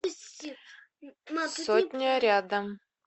сотня рядом